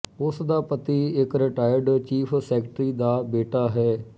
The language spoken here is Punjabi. ਉਸ ਦਾ ਪਤੀ ਇੱਕ ਰਿਟਾਇਰਡ ਚੀਫ ਸੈਕਟਰੀ ਦਾ ਬੇਟਾ ਹੈ